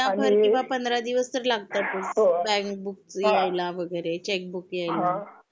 एक महिनाभर किंवा दिवस तरी लागतातच बँक बुक यायला वगैरे चेक बुक यायला.